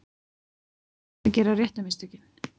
Að gera réttu mistökin